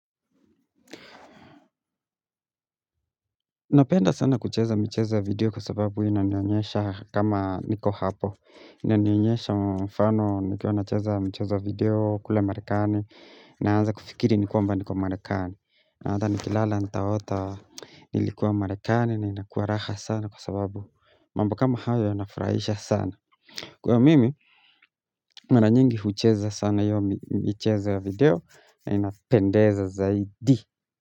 Napenda sana kucheza michezo ya video kwa sababu inanionyesha kama niko hapo Inanionyesha mfano nikiwa nacheza mchezo ya video kule marekani Naanza kufikiri ni kwamba niko marekani na hata ni kilala ntaota nilikuwa marekani na inakuwa raha sana kwa sababu mambo kama hayo inafurahisha sana Kwa hiyo mimi, nana nyingi hucheza sana hiyo michezo ya video na inapendeza zaidi.